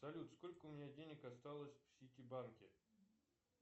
салют сколько у меня денег осталось в ситибанке